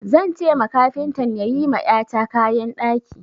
Zan ce ma kafintan ya yi ma ƴata kayan ɗaki.